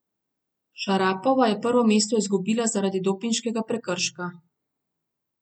Šarapova je prvo mesto izgubila zaradi dopinškega prekrška.